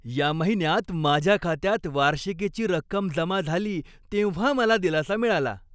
या महिन्यात माझ्या खात्यात वार्षिकीची रक्कम जमा झाली तेव्हा मला दिलासा मिळाला.